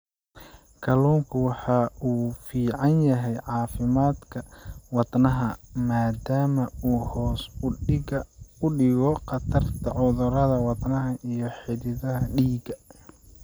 Kalluunku waxa uu u fiican yahay caafimaadka wadnaha maadaama uu hoos u dhigo khatarta cudurrada wadnaha iyo xididdada dhiigga.